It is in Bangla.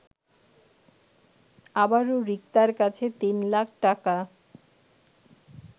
আবারো রিক্তার কাছে ৩ লাখ টাকা